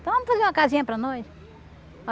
Então, vamos fazer uma casinha para nós?